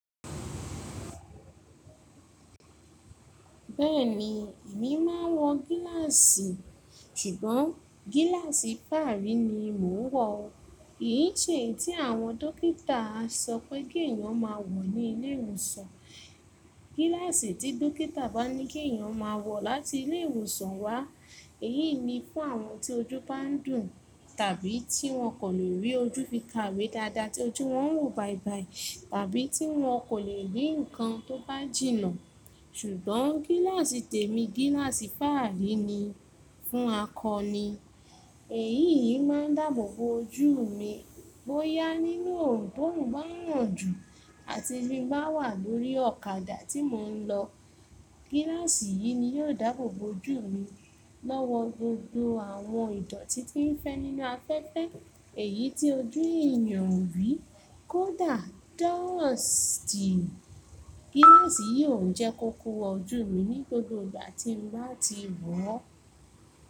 Bẹ́ẹ̀ni, èmi máa ń wọ gíláàsì ṣùgbọ́n gíláàsì faarí ni mo ń wọ. Kín ṣeyi tí àwọn dókítà sọ pé kí èèyàn máa wọ̀ ní ilé ìwòsàn. Gíláàsì tí dókítà bá ní kí èèyàn máa wọ̀ láti ilé ìwòsàn wá, èyí ni fún àwọn tí ojú bá ń dùn tàbí tí wọn kò lè rí ojú fi kawe dáadáa tí ojú wọn ń wò bàìbàì tàbí tí wọn kò lè rí nǹkan tó bá jìnnà. Ṣùgbọ́n gíláàsì tèmi gíláàsì faarí ni fún akọ ni. Èyí yìí máa ń dáàbò bo ojú mi bóyá nínú òòrùn bórùn bá ń ràn jù àti bí mo bá wà lórí ọ̀kadà tí mò ń lọ. Gíláàsì yìí ni yóò dáàbò bo ojú mi lọ́wọ́ gbogbo àwọn ìdọ̀tí tí ń fẹ́ nínú afẹ́fẹ́ èyí tí ojú èèyàn o rí kódà dọ̀stì. Gíláàsì yìí ò n jẹ́ kó kowo ojú mi ní gbogbo ìgbà tí n bá n ti wọ̀.